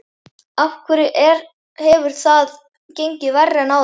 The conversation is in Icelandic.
Af hverju hefur það gengið verr en áður?